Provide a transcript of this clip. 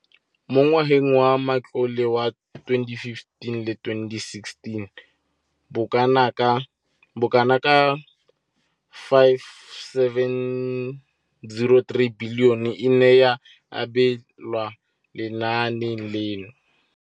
Mo ngwageng wa matlole wa 2015,16, bokanaka R5 703 bilione e ne ya abelwa lenaane leno.